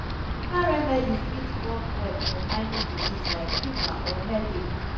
herbal remedies fit work well for minor disease like fever or headache.